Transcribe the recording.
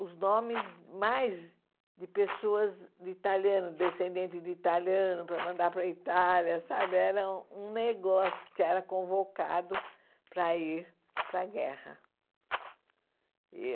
os nomes mais de pessoas de italiano, descendentes de italiano, para mandar para a Itália, sabe era um negócio que era convocado para ir para a guerra.